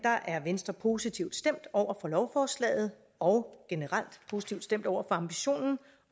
er venstre positivt stemt over for lovforslaget og generelt positivt stemt over for ambitionen